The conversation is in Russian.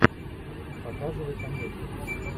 показывай комедию